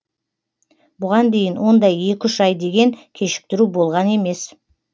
бұған дейін ондай екі үш ай деген кешіктіру болған емес